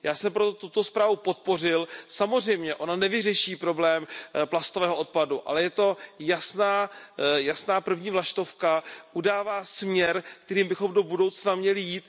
Já jsem proto tuto zprávu podpořil, samozřejmě ona nevyřeší problém plastového odpadu, ale je to jasná první vlaštovka, udává směr, kterým bychom do budoucna měli jít.